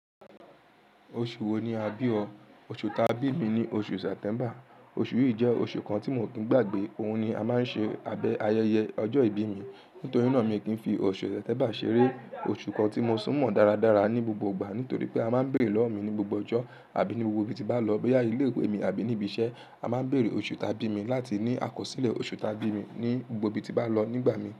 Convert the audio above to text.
Oṣù wo ni a bí ọ? Oṣù ta bí mi ni oṣù Sẹ́ptẹ́mber Oṣù yìí jẹ́ oṣù kan tí mi o kì ń gbàgbé. Óhun ni a máa ń ṣe abẹ́ ayẹyẹ ọjọ́ ìbí mi. Nítorí náà mi o kì n fi oṣù iyen ń tẹbà ṣeré. Oṣù kan tí mo tún mọ̀n dáradára ní gbogbo ìgbà nítorí pé a máa ń bèrè lọ́wọ́ mi ní gbogbo ọjọ́ àbí ní gbogbo ibi tí n bá lọ, bóyá ilé ìwé ni àbí ní ibi iṣẹ́. A máa ń bèrè oṣù taa bí mi láti ní àkọsílẹ̀ oṣù taa bí mi ní gbogbo ibi tí n bá n lọ nígbà mìí.